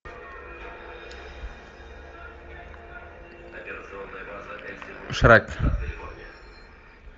шрек